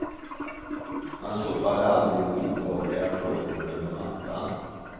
Han sopade aldrig obehagliga frågor under mattan.